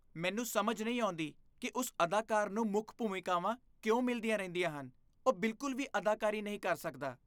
ਮੈਨੂੰ ਸਮਝ ਨਹੀਂ ਆਉਂਦੀ ਕਿ ਉਸ ਅਦਾਕਾਰ ਨੂੰ ਮੁੱਖ ਭੂਮਿਕਾਵਾਂ ਕਿਉਂ ਮਿਲਦੀਆਂ ਰਹਿੰਦੀਆਂ ਹਨ। ਉਹ ਬਿਲਕੁਲ ਵੀ ਅਦਾਕਾਰੀ ਨਹੀਂ ਕਰ ਸਕਦਾ।